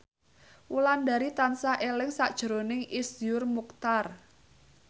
Wulandari tansah eling sakjroning Iszur Muchtar